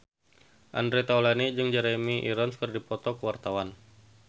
Andre Taulany jeung Jeremy Irons keur dipoto ku wartawan